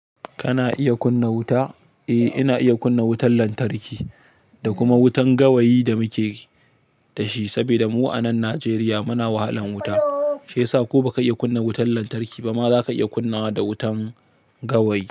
Kana iya kunna wuta? Eh, ina iya kunna wutan lantarki da kuma wutan gawayi da muke da shi. Saboda mu a nan Najeriya muna wahalan wuta, shi yasa ko baka iya kunna wutan lantarki ba, ma za ka iya kunna da wutan gawayi.